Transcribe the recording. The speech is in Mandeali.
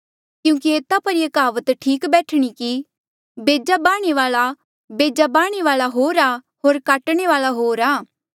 क्यूंकि एता पर ये कहावत ठीक बैठणी कि बेजा बाह्णे वाल्आ होर आ होर काटणे वाल्आ होर आ